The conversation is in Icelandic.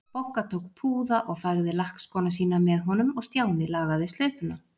Bogga tók púða og fægði lakkskóna sína með honum og Stjáni lagaði slaufuna.